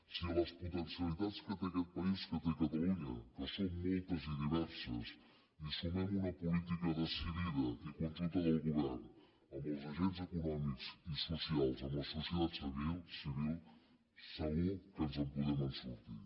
si a les potencialitats que té aquest país que té catalunya que són moltes i diverses hi sumem una política decidida i conjunta del govern amb els agents econòmics i socials amb la societat civil segur que ens en podem sortir